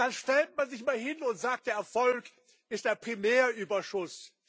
Und dann stellt man sich hin und sagt Der Erfolg ist der Primärüberschuss.